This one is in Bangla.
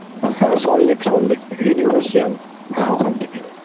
হ্যাঁ সল্টলেক সল্টলেক থেকে universal হ্যাঁ ওখান থেকে